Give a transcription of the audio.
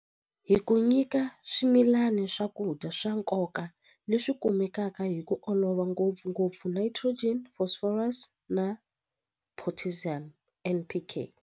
Hi ku nyika swimilani swakudya swa nkoka leswi kumekaka hi ku olova ngopfungopfu nitrogen phosphorus na potassium N_P_K.